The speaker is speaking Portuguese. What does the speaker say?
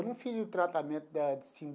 Eu não fiz o tratamento da.